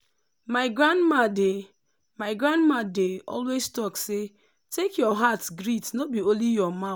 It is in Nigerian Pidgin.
my grandma dey my grandma dey always talk say “take your heart greet no be only your mouth.”